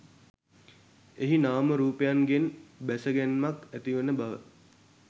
එහි නාම රූපයන්ගෙන් බැස ගැන්මක් ඇතිවන බව